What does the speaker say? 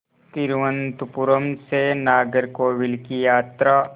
तिरुवनंतपुरम से नागरकोविल की यात्रा